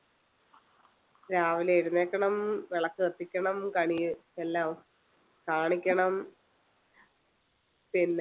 രാവിലെ എഴുന്നേൽക്കണം വിളക്ക് കത്തിക്കണം കണി എല്ലാം കാണിക്കണം പിന്നെ